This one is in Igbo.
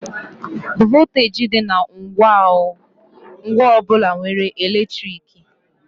Vọlteeji dị na ngwa ọ bụla nwere eletriki.